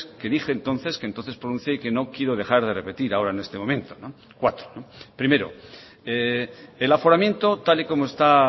que dije entonces que entonces pronuncié y que no quiero dejar de repetir ahora en este momento cuatro primero el aforamiento tal y como está